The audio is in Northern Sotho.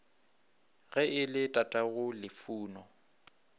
ge e le tatago lufuno